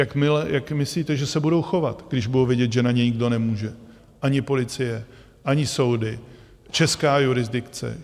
Jak myslíte, že se budou chovat, když budou vědět, že na ně nikdo nemůže - ani policie, ani soudy, česká jurisdikce.